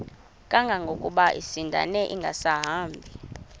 kangangokuba isindane ingasahambi